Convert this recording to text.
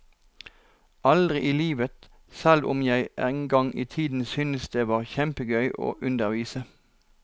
Aldri i livet, selv om jeg en gang i tiden syntes det var kjempegøy å undervise.